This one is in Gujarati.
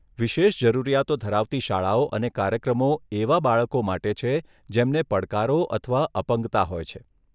વિશેષ જરૂરિયાતો ધરાવતી શાળાઓ અને કાર્યક્રમો એવા બાળકો માટે છે જેમને પડકારો અથવા અપંગતા હોય છે.